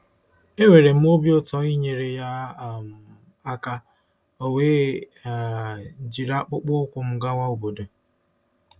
Enwere m obi ụtọ inyere ya um aka, o wee um jiri akpụkpọ ụkwụ m gawa obodo.